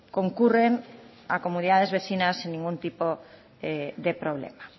concurren a comunidades vecinas sin ningún tipo de problema